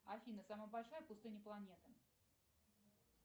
афина самая большая пустыня планеты